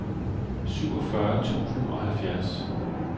syvogfyrre tusind og halvfjerds